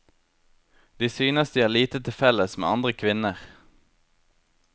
De synes de har lite til felles med andre kvinner.